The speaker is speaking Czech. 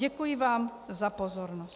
Děkuji vám za pozornost.